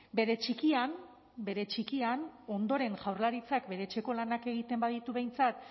bere txikian bere txikian ondoren jaurlaritzak bere etxeko lanak egiten baditu behintzat